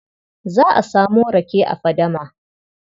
Za a samo rake a fadama.